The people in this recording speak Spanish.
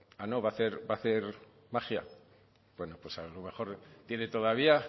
a no va a hacer magia bueno pues a lo mejor tiene todavía